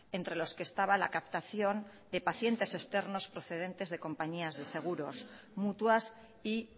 entre los que estaba la captación de pacientes externos procedentes de compañías de seguros mutuas y